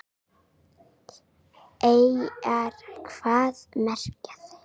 Eyjar, hvað merkja þær?